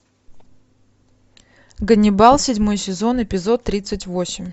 ганнибал седьмой сезон эпизод тридцать восемь